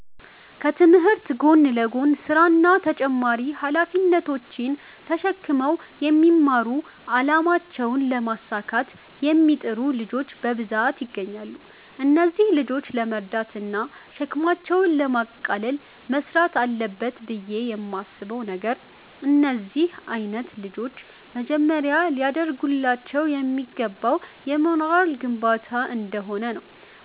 ከትምህርት ጎን ለጎን ስራ እና ተጨማሪ ሃላፊነቶች ተሽክመው የሚማሩ አላማቸውን ለማሳካት የሚጥሩ ልጆች በብዛት ይገኛሉ። እነዚህን ልጆች ለመርዳት እና ሸክማቸውን ለማቅለል መስራት አለበት ብየ የማስበው ነገር፤ እንደነዚህ አይነት ልጆች መጀመሪያ ሊደርግላቸው የሚገባው የሞራል ግንባታ እንደሆነ ነው፤